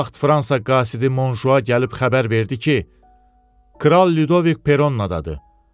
Bu vaxt Fransa qasidi Monjua gəlib xəbər verdi ki, Kral Lidovik Peronnadadı.